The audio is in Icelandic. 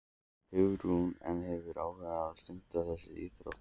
Hugrún: En hefurðu áhuga á að stunda þessa íþrótt?